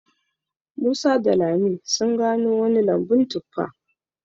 Musa da lami sun gano wani lambun tuffa